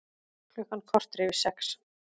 Klukkan korter yfir sex